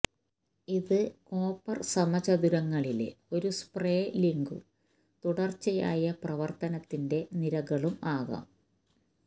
ഇത് കോപ്പർ സമചതുരങ്ങളിലെ ഒരു സ്പ്രേലിംഗും തുടർച്ചയായ പ്രവർത്തനത്തിന്റെ നിരകളും ആകാം